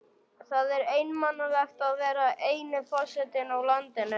Það er einmanalegt að vera eini forsetinn í landinu.